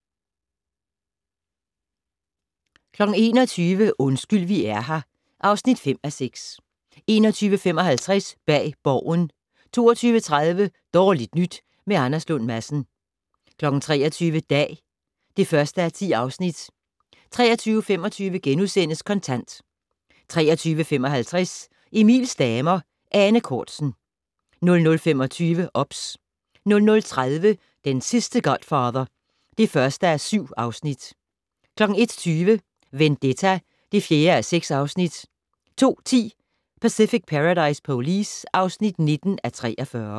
21:00: Undskyld vi er her (5:6) 21:55: Bag Borgen 22:30: Dårligt nyt med Anders Lund Madsen 23:00: Dag (1:10) 23:25: Kontant * 23:55: Emils damer - Ane Cortzen 00:25: OBS 00:30: Den sidste godfather (1:4) 01:20: Vendetta (4:6) 02:10: Pacific Paradise Police (19:43)